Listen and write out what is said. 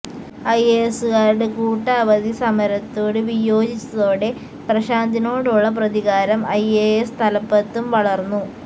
ഐഎഎസുകാരുടെ കൂട്ട അവധി സമരത്തോട് വിയോജിച്ചതോടെ പ്രശാന്തിനോടുള്ള പ്രതികാരം ഐ എ എസ് തലപ്പത്തും വളർന്നു